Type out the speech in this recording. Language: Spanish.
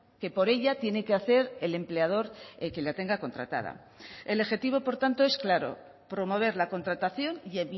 que por ella tiene que hacer el empleador que la tenga contratada el objetivo por tanto es claro promover la contratación y